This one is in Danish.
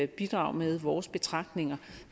bidrage med vores betragtninger